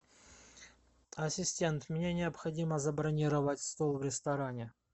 ассистент мне необходимо забронировать стол в ресторане